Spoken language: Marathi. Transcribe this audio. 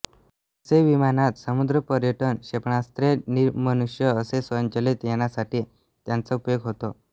जसे विमानात समुद्रपर्यटन क्षेपणास्त्रे निर्मनुष्य असे स्वयंचलीत यानांसाठी त्यांचा उपयोग होतो